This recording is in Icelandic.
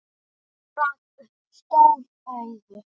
Hún rak upp stór augu.